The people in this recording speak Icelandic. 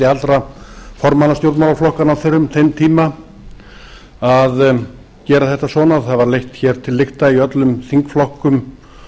allra formanna stjórnmálaflokkanna á þeim tíma að gera þetta svona og það var leitt hér til lykta í öllum þingflokkum